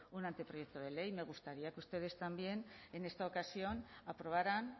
un anteproyecto de ley me gustaría que ustedes también en esta ocasión aprobaran